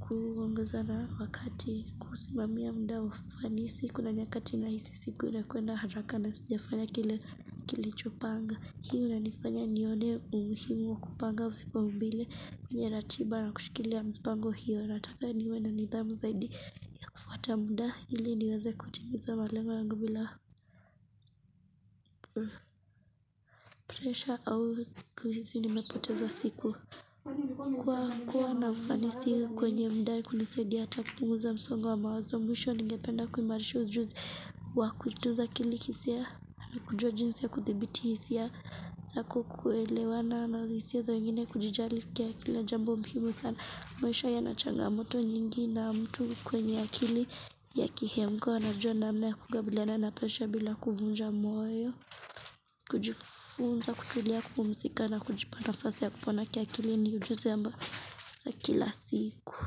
kuongazana wakati kusimamia muda wa ufanisi Kuna nyakati nahisi siku inakuenda haraka na sinjafanya kile kilichopanga hiyo nanifanya nione umuhimu kupanga vipau mbele kwenye ratiba na kushikilia mipango hiyo Nataka niwe na nidhamu zaidi kufuata muda ili niweze kutimiza malengo yangu bila presha au kuhisi ni mepoteza siku Kwa hukua na ufanisi kwenye mudakunisaidi Hata kupunguza msongo wa mawazo Mwisho ningependa kuimarisha ujuzi Wakutunza kilikisi ya kujua jinsi ya kuthibiti Hisiya zakukuelewana na hisia za wengine kujijali kwa Kila jambo muhiimu sana Mwisho yanachangamoto nyingi na mtu kwenye akili ya kihemko anajua namna ya kukabiliana presha bila kuvunja moyo kujifunza kutulia kupumzika na kujipa nafasa ya kupona kiakili ni ujuzi ambao za kila siku.